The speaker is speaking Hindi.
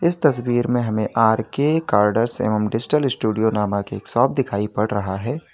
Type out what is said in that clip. इस तस्वीर में हमें आर के कार्ड्स एवं डिजिटल स्टूडियो नामक एक शॉप दिखाई पड़ रहा है।